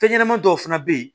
Fɛn ɲɛnɛmani dɔw fana bɛ ye